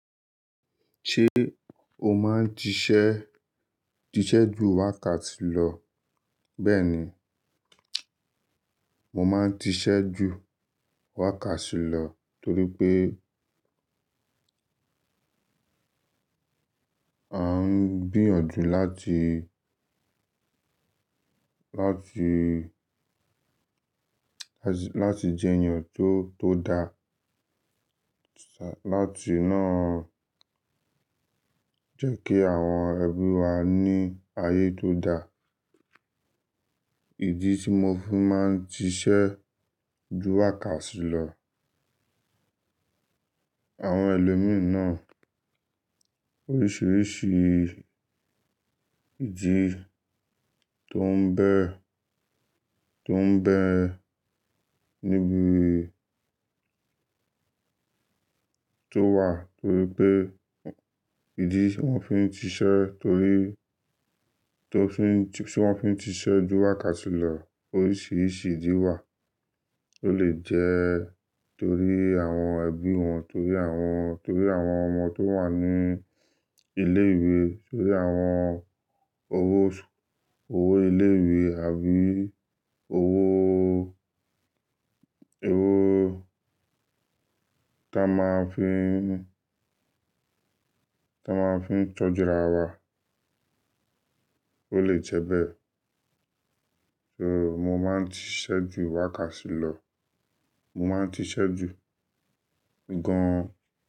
Ṣé o máa ń ṣiṣẹ́, ṣiṣẹ́ ju wákàtí lọ? Bẹ́ẹ̀ni, mo máa ń ṣiṣẹ́ ju wákàtí lọ torí pé a ń gbìyànjú láti, láti, láti jẹ́ ènìyàn tó, tó dáa. Láti náà jẹ́ kí àwọn ẹbí wa ní ayé tó dáa. Ìdí tí mo fi máa ń ṣiṣẹ́ ju wákàtí lọ, àwọn ẹlòmíràn oríṣiríṣi ìdí tó ń bẹ́, tó ń bẹ́ níbi tó wà torí pé ìdí tí wọ́n fi ń ṣiṣẹ́ torí tó fi ń, tí wọ́n fi ń ṣiṣẹ́ ju wákàtí lọ oríṣiríṣi ìdí wà. Ó lè jẹ́ torí àwọn ẹbí wọn, torí àwọn, torí àwọn ọmọ tó wà ní ilé-ìwé, torí àwọn owó, owó ilé-ìwé àbí owó, owó tá a máa ń fi ní, tá a máa ń fi tọ́jú ara wa. Ó lè jẹ́ bẹ́ẹ̀. So, mo máa ń ṣiṣẹ́ ju wákàtí lọ. Mo máa ń ṣiṣẹ́ jù gan-an.